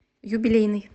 юбилейный